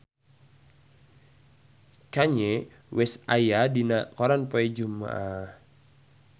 Kanye West aya dina koran poe Jumaah